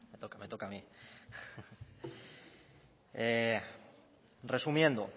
me toca a mí resumiendo